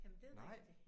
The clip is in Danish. Jamen det rigtigt